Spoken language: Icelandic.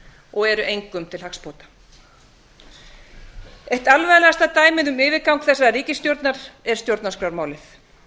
og eru engum til hagsbóta áttu alvarlegasta dæmið um yfirgang þessarar ríkisstjórnar er stjórnarskrármálið